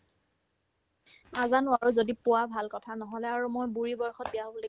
নাজানো আৰু যদি পোৱা ভাল কথা নহ'লে আৰু মই বুঢ়ি বয়সত বিয়া হ'ব লাগিব